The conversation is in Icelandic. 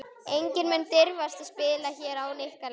Enginn mun dirfast að spila hér án ykkar leyfis.